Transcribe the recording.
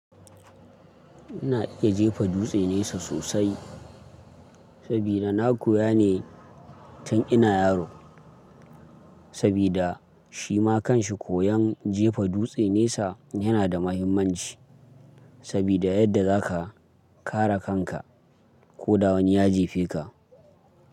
Ina iya jefa dutse nesa sosai sabida na koya ne tun ina yaro. Sabida shi ma kan shi koyan jefa dutse nesa yana da mahimmanci sabida yadda za ka kare kanka ko da wani ya jefe ka.